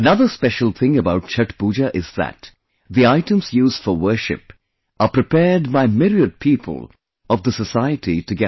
Another special thing about Chhath Puja is that the items used for worship are prepared by myriad people of the society together